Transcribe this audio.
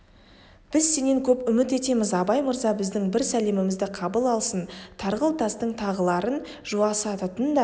біз сенен көп үміт етеміз абай мырза біздің бір сәлемімізді қабыл алсын тарғыл тастың тағыларын жуасытатында